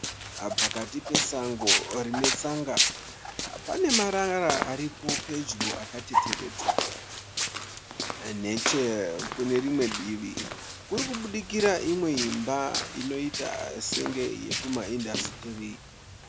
Pakati pesango rine tsanga pane marara akaunganidzwa . Nechekumberi kuri kubudikira imba inoita senge iri kumaindasitiri.